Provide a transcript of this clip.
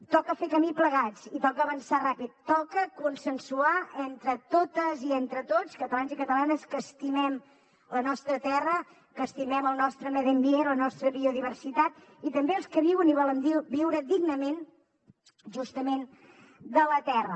toca fer camí plegats i toca avançar ràpid toca consensuar entre totes i entre tots catalans i catalanes que estimem la nostra terra que estimem el nostre medi ambient la nostra biodiversitat i també els que viuen i volem viure dignament justament de la terra